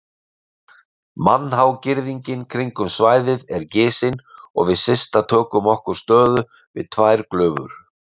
Mannhá girðingin kringum svæðið er gisin og við Systa tökum okkur stöðu við tvær glufur.